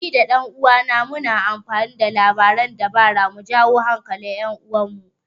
Ni da ɗan uwana muna amfani da labaran dabara mu jawo hankalin 'yar uwarmu.